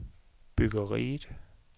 byggeriet